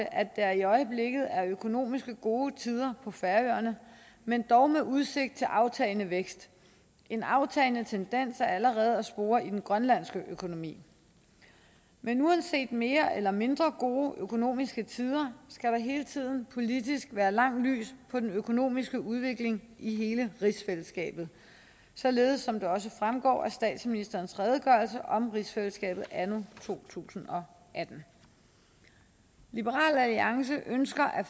at der i øjeblikket er økonomisk gode tider på færøerne men dog med udsigt til aftagende vækst en aftagende tendens er allerede at spore i den grønlandske økonomi men uanset mere eller mindre gode økonomiske tider skal der hele tiden politisk være langt lys på den økonomiske udvikling i hele rigsfællesskabet således som det også fremgår af statsministerens redegørelse om rigsfællesskabet anno to tusind og atten liberal alliance ønsker at